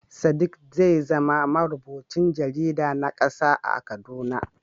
Sadiq zai zama marubucin jarida na kasa a Kaduna.